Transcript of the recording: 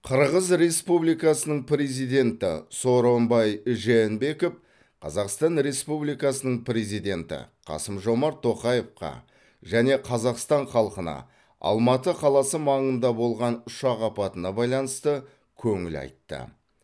қырғыз республикасының президенті сооронбай жээнбеков қазақстан республикасының президенті қасым жомарт тоқаевқа және қазақстан халқына алматы қаласы маңында болған ұшақ апатына байланысты көңіл айтты